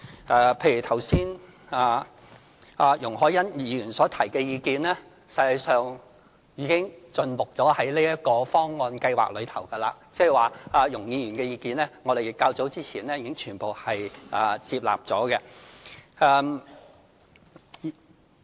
剛才容海恩議員所提的意見，實際上已盡錄在這個計劃方案中，即是說對於容議員的意見，我們較早前已全部接納。